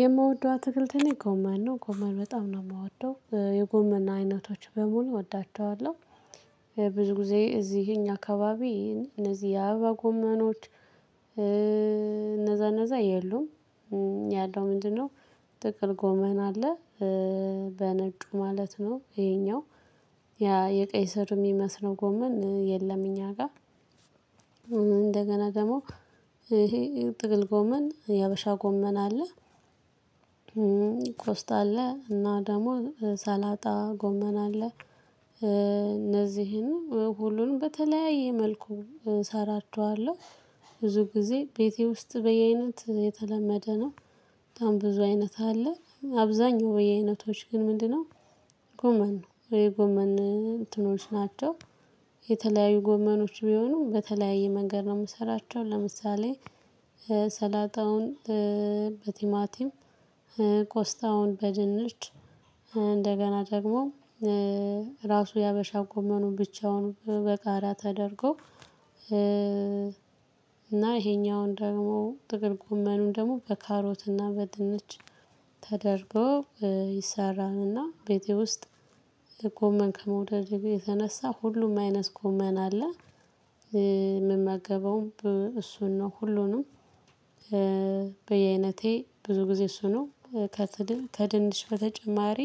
የምወደው አትክልትኔ ጎመን ነው ጎመን በጣም ነው የምወደው የጎመን አይነቶች በሙሉ እወዳቸዋለሁ። ብዙ ጊዜ እዚህ የኛ አካባቢ እነዚህ የአበባ ጎመኖች። እነዛ እነዛ የሉም። ያለው ምንድነው? ጥቁር ጎመን አለ። በነጩ ማለት ነው። ይሄኛው ያ የቀይ ስር የሚመስለው ጎመን የለም። እኛ ጋር እንደገና ደግሞ ይሄ ጥቅል ጎመን የሀበሻ ጎመን አለ። ኮስት አለ እና ደግሞ ሰላጣ ጎመና አለ። እነዚህን ሁሉንም በተለያየ መልኩ እሰራቸዋለሁ። ብዙ ጊዜ ቤቴ ውስጥ በየአይነት የተለመደ ነው። በጣም ብዙ አይነት አለ አብዛኛው በየአይነቶች ግን ምንድነው? ጎመን ነው የጎመን እንትኖች ናቸው። የተለያዩ ጎመኖች ቢሆኑ በተለያየ መንገድ ነው የምሰራቸው። ለምሳሌ ሰላጣውን በቲማቲም ኮስታውን በድንች እንደገና ደግሞ ራሱ የሀበሻ ጎመኑን ብቻውን በጋራ ተደርጎ። እና ይሄኛውን ደግሞ ጥቅል ጉመኑን ደግሞ በካሮትና በድንች ተደርገው። ቤቴ ውስጥ ጎመን ከመውደድ የተነሳ ሁሉም አይነት ጎመን አለ። የምመገበውም እሱን ነው። ሁሉንም በየአይነቴ ብዙ ጊዜ እሱ ነው። ከድንች በተጨማሪ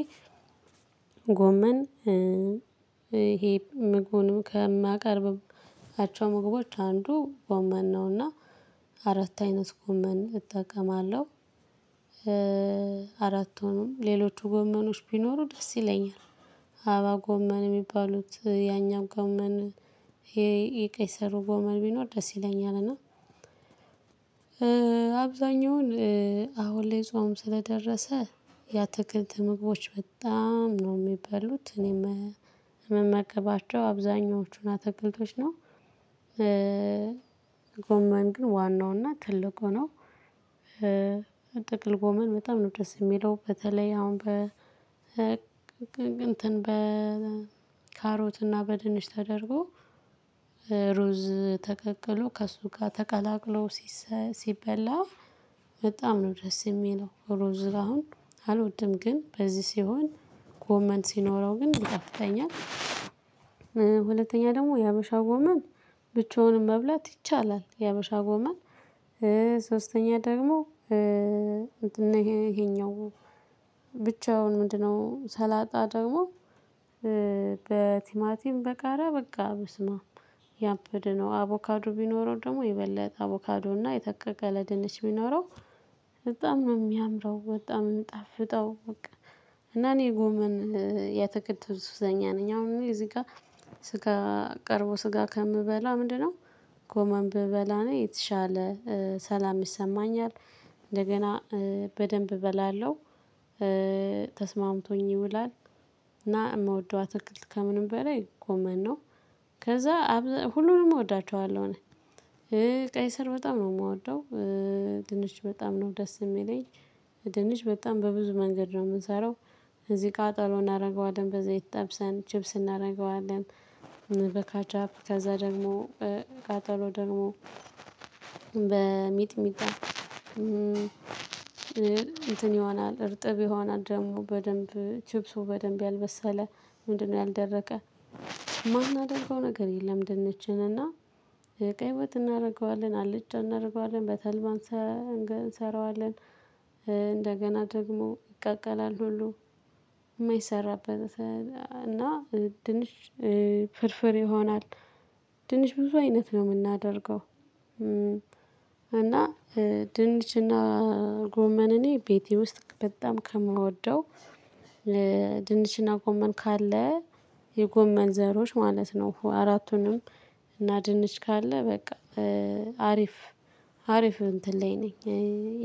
ጎመን ህሄ ምግቡንም ከማቀርብም አቻ ምግቦች አንዱ ጎመን ነውና አራት አይነት ጎመን እጠቀማለሁ። አራት ሆኖም ሌሎቹ ጎመኖች ቢኖሩ ደስ ይለኛል። አባ ጎመን የሚባሉት ያኛው ጎመን የቀይ ስሩ ጎመን ብኖር ደስ ይለኛል እና። አብዛኛውን አሁን ላይ ጾም ስለደረሰ የአትክልት ምግቦች በጣም ነው የሚበሉት እኔም የምመገባቸው አብዛኞቹን አትክልቶች ነው። ጎማን ግን ዋናውና ትልቁ ነው። ጥቅል ጎመን በጣም ነው ደስ የሚለው በተለይ አሁን በ እንትን በ ካሮትና በድንች ተደርጎ ሩዝ ተቀቅሎ ከእሱ ጋር ተቀላቅሎ ሲበላ በጣም ነው ደስ የሚለው። ሩዝ አሁን አልወድም ግን በዚህ ሲሆን ኮመንት ሲኖረው ግን ይጣፊጠኛል። ደግሞ የሀበሻው ጎመን ብቻውን መብላት ይቻላል። የሀበሻ ጎመን ሶስተኛ ደግሞ ይሄኛው ብቻውን ምንድነው? ሰላጣ ደግሞ በቲማቲም በቃራ በቃ ብስመ አብ ያብደ ነው አቮካዱ ቢኖረው ደግሞ ይበለጥ አቮካዱ እና የተከከለ ድንች ቢኖረው በጣም ነው የሚያምረው። በጣም የምንጣፍጠው በቃ እና እኔ ጎመን ሱዘኛ ነኝ። አሁን እዚህ ጋር ስጋ ቀርቦ ስጋ ከምበላ ምንድነው? ጎመን ብበላ ነው የተሻለ ሰላም ይሰማኛል። እንደገና በደንብ እበላለሁ። ተስማምቶኝ ይውላል። እና የምወደው አትክልት ከምንም በላይ ኮመን ነው። ከዛ ሁሉንም እወዳቸዋለሁ እኔ ቀይ ስር በጣም ነው የምወደው። ድንች በጣም ነው ደስ የሚለኝ። ድንች በጣም በብዙ መንገድ ነው የምንሰራው። እዚህ ጋር ጥሩ እናደርገዋለን በዘይት ጠብሰን ቺፕስ እናደርገዋለን። በካቻፕ ከዛ ደግሞ በቃጠሎ ደግሞ በሚጥሚጣ እርጥብ ይሆናል ደግሞ በደንብ ቺፕሱ በደንብ ያልበሰለ ምንድነው ያልደረቀ የማናደርገው ነገር የለም። ድንችን እና የቀይወጥ እናደርገዋለን አልጫ እናደርገዋለን በተልባ እንሰራዋለን። ደግሞ ይቀቀላል ሁሉ የማይሰራበት እና ድንች ፍርፍር ይሆናል። ድንች ብዙ አይነት ነው የምናደርገው። እና ድንችና ጎመን እኔ ቤተቴ ውስጥ በጣም ከምወደው። ድንችና ጎመን ካለ የጎመን ዘሮች ማለት ነው። አራቱንም ካለ በቃ አሪፍ። አሪፍ እንትን ላይ ነኝ።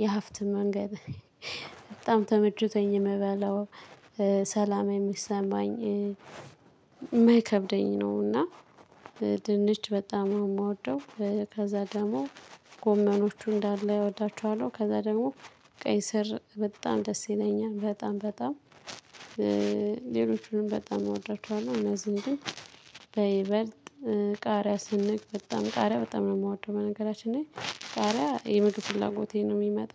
የሀፍት መንገድ በጣም ተመችቶኝ የምበለው ሰላም የሚሰማኝ ነውና። ድንች በጣም ነው የምወደው። ከዛ ደግሞ ጎመኖቹን እንዳለ እወዳቸዋለሁ ከዛ ደግሞ ቀይ ስር በጣም ደስ ይለኛል። በጣም በጣም ሌሎቹንም በጣም አወዳቸዋለሁ። እነዚህን ግን በይበልጥ ቃሪያ ስንቅ በጣም ቃሪያ በጣም ነው የምወደው። በነገራችን ላይ ቃሪያ የምድር ፍላጎቴን ነው የሚመጣው